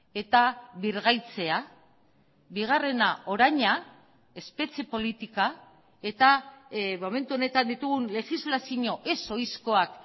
eta birgaitzea bigarrena oraina espetxe politika eta momentu honetan ditugun legislazio ez oizkoak